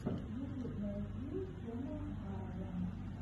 ютуб найти сэма аррага